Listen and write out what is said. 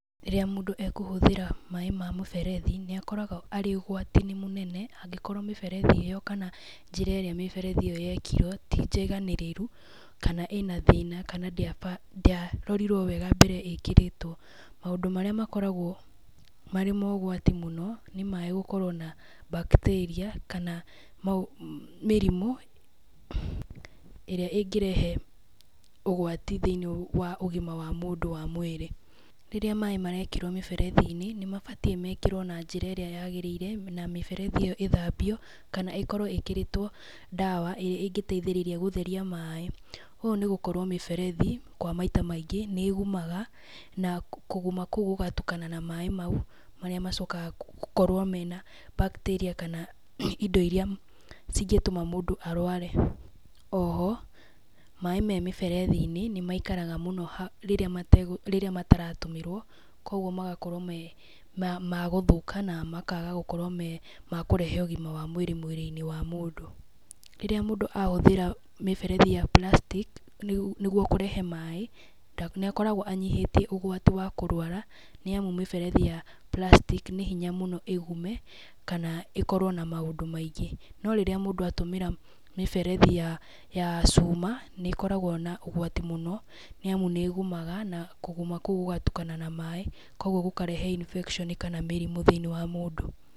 Rĩrĩa mũndũ ekũhũthĩra maaĩ ma mũberethi, nĩ akoragwo arĩ ũgwati-inĩ mũnene angĩkorwo mĩberethi ĩyo kana njĩra ĩrĩa mĩberethi ĩyo yakirwo ti njiganĩrĩru, kana ĩna thĩna kana ndĩarorirwo wega mbere ya ĩkĩrĩtwo. Mũndũ marĩa makoragwo marĩ ma ũgwati mũno nĩ maaĩ gũkorwo na bacteria kana mĩrimũ ĩrĩa ĩngirehe ũgwati thĩinĩ wa ũgima wa mũndũ wa mwĩrĩ. Rĩrĩa maaĩ marekĩrwo mĩberethi-inĩ nĩ mabatiĩ mekĩrwo na njĩra irĩa yagĩrĩire na mĩberethi ĩyo ithambio kana ĩkorwo ĩkĩrĩtwo ndawa ĩrĩa ĩngĩteithíĩiria gũtheria maaĩ. Ũũ nĩ gũkorwo mĩberethi kwa maita maingĩ nĩ ĩgumaga na kũguma kũu gũgatukana na maaĩ mau marĩa macokaga gũkorwo mena bacteria kana indo iria cingĩtuma mũndũ arware. Oho maaĩ me mĩberethi-inĩ nĩ maikaraga mũno rĩrĩa mategũtũmĩrwo koguo magakorwo ma gũthũka na makaga gũkorwo me makũrehe ũgima wa mwĩrĩ mwĩrĩ-inĩ wa mũndũ. Rĩrĩa mũndũ ahũthĩra mĩberethi ya plastic nĩguo kũrehe maaĩ nĩ akoragwo anyihĩtie ũgwati wa kũrwara nĩ amu mĩberethi ya plastic nĩ hinya mũno ĩgume kana ĩkorwo na maũndũ maingĩ. No rĩrĩa mũndũ atũmĩra mĩberethi ya cuma nĩ ĩkoragwo na ũgwati muno nĩ amu nĩ ĩgumaga na kũguma kũu gũgatukana na maaĩ koguo gũkarehe infection kana mĩrimũ thĩinĩ wa mũndũ.